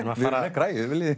græjur viljið